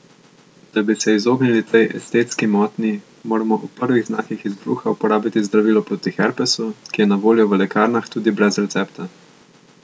Da bi se izognili tej estetski motnji, moramo ob prvih znakih izbruha uporabiti zdravilo proti herpesu, ki je na voljo v lekarnah tudi brez recepta.